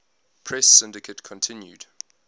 press syndicate continued